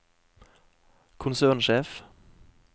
konsernsjef